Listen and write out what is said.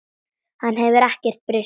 Hann hefur ekkert breyst heldur.